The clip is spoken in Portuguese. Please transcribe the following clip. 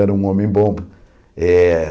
Era um homem bom. Eh